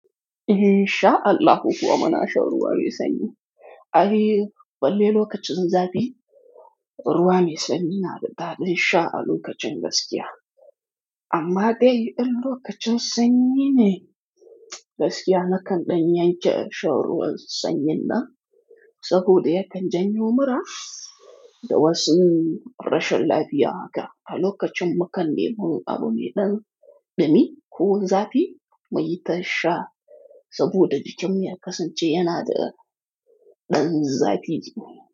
Insha Allahu kuwa muna shan ruwa mai sanyi. Ai balle lokacin zafi, ruwa mai sanyi na da daɗin sha a lokacin gaskiya. Amma dai in lokacin sanyi ne gaskiya, nakan ɗan yanke shan ruwan sanyi nan, saboda yakan janyo mura da wasu rashin lafiya haka. A lokacin mukan nemo abu mai ɗan dumi ko zafi, muyi ta sha saboda jikin ya kasance yana da ɗan zafi ji.